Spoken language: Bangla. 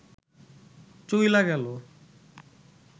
চইলা গেল